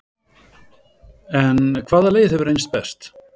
En hvaða leið hefur reynst best?